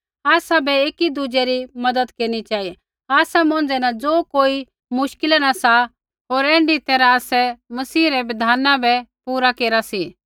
आसाबै एकीदुज़ै री मज़त केरनी चेहिऐ आसा मौंझ़ै न ज़ो कोई मुश्किला न सा होर ऐण्ढी तैरहा आसै मसीह रै बिधाना बै पूरा केरा